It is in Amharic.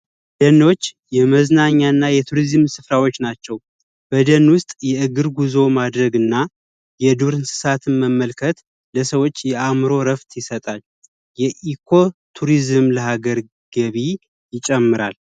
ደኖች የመዝናኛና የቱሪዝም ስፍራዎች ናቸው በደን ውስጥ የእግር ጉዞ ማድረግና የዱር እንስሳትን መመልከት ለሰዎች የአእምሮ እርፍት ይሰጣል የኢኮ ቱሪዝም ለሀገር ገቢ ይጨምራል